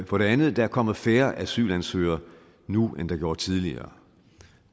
for det andet er der kommet færre asylansøgere nu end der gjorde tidligere